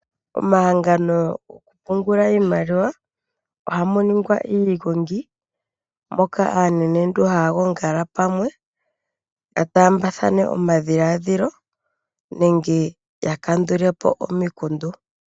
Omahangano gokupungulwa iimaliwa ohamu ningwa iigongi moka aanenentu haya yongala pamwe ya taambathane omadhiladhilo nenge ya kandule po omikundu.